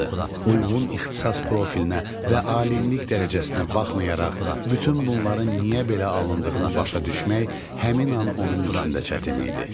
Uyğun ixtisas profillinə və alimlik dərəcəsinə baxmayaraq bütün bunların niyə belə alındığını başa düşmək həmin an onun üçün də çətin idi.